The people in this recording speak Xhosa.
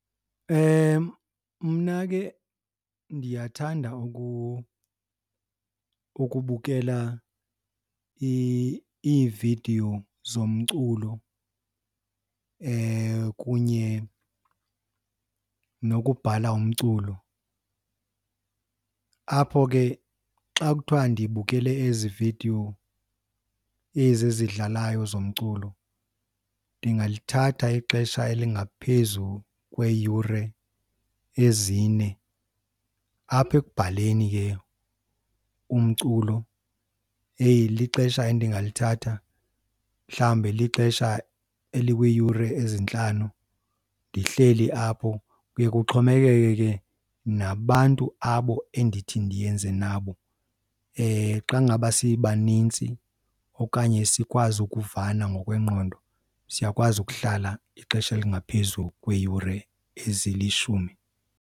Mna ke ndiyathanda ukubukela iividiyo zomculo kunye nokubhala umculo. Apho ke xa kuthiwa ndibukele ezi vidiyo ezi zidlalayo zomculo ndingalithatha ixesha elingaphezu kweeyure ezine. Apha ekubhaleni ke umculo lixesha endingalithatha mhlawumbe lixesha elikwiiyure ezintlanu ndihleli apho. Kuye kuxhomekeke ke nabantu abo endithi ndiyenze nabo. Xa ngaba sibanintsi okanye sikwazi ukuvana ngokwengqondo siyakwazi ukuhlala ixesha elingaphezu kweeyure ezilishumi.